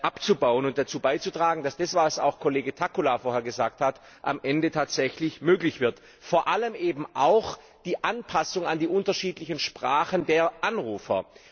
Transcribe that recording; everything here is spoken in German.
abzubauen und dazu beizutragen, dass das, was auch Kollege Takkula vorhin gesagt hat, am Ende tatsächlich möglich wird, vor allem eben auch die Anpassungen an die unterschiedlichen Sprachen der Anrufer.